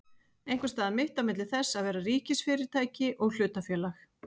Einhvers staðar mitt á milli þess að vera ríkisfyrirtæki og hlutafélag?